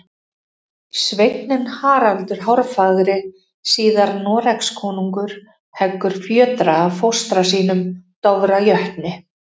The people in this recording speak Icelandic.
Sveinninn Haraldur hárfagri, síðar Noregskonungur, heggur fjötra af fóstra sínum, Dofra jötni.